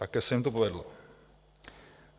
Také se jim to povedlo.